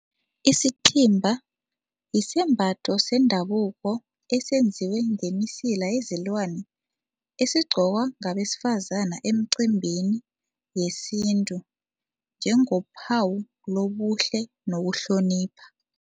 Isithimba yisembatho sendabuko esenziwe ngemisila yezilwani esigqokwa ngabesifazane emcimbini yesintu njengaphawu lobuhle nokuhlonipha.